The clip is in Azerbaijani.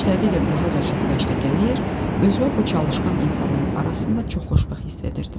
İşlədikcə daha da çox vəcdə gəlir, özümə bu çalışqan insanların arasında çox xoşbəxt hiss edirdim.